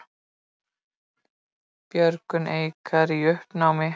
Björgun Eikar í uppnámi